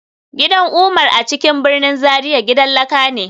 Gidan Umar a cikin birnin Zaria gidan laka ne